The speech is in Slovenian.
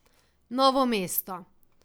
Novo mesto.